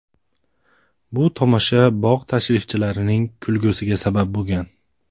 Bu tomosha bog‘ tashrifchilarining kulgusiga sabab bo‘lgan.